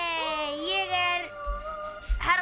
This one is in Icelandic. ég er herra